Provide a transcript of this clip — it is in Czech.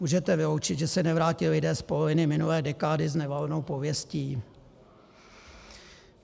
Můžete vyloučit, že se nevrátí lidé z poloviny minulé dekády s nevalnou pověstí?